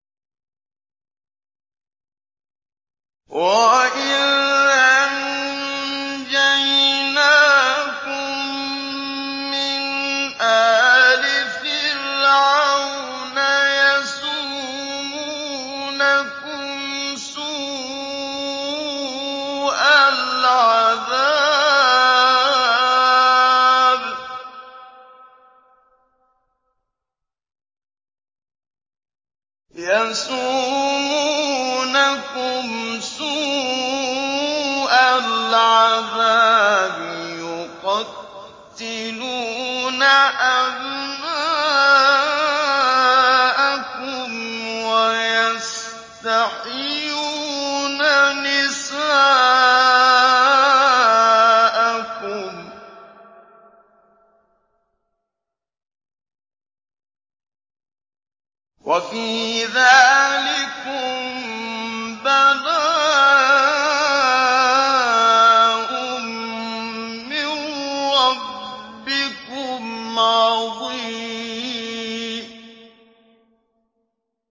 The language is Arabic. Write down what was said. وَإِذْ أَنجَيْنَاكُم مِّنْ آلِ فِرْعَوْنَ يَسُومُونَكُمْ سُوءَ الْعَذَابِ ۖ يُقَتِّلُونَ أَبْنَاءَكُمْ وَيَسْتَحْيُونَ نِسَاءَكُمْ ۚ وَفِي ذَٰلِكُم بَلَاءٌ مِّن رَّبِّكُمْ عَظِيمٌ